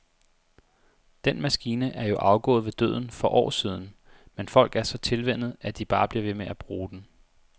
Den maskine er jo afgået ved døden for år siden, men folk er så tilvænnet, at de bare bliver ved med at bruge den.